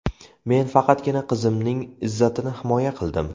Men faqatgina qizimning izzatini himoya qildim.